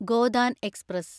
Godaan express